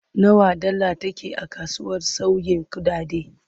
Nawa dala take a kasuwar sauyin kuɗaɗe?